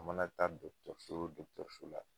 U mana taa la